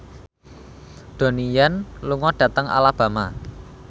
Donnie Yan lunga dhateng Alabama